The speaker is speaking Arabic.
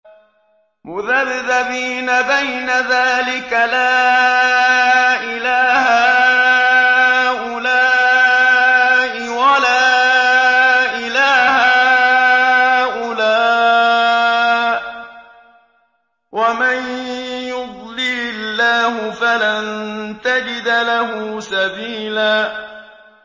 مُّذَبْذَبِينَ بَيْنَ ذَٰلِكَ لَا إِلَىٰ هَٰؤُلَاءِ وَلَا إِلَىٰ هَٰؤُلَاءِ ۚ وَمَن يُضْلِلِ اللَّهُ فَلَن تَجِدَ لَهُ سَبِيلًا